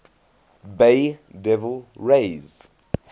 bay devil rays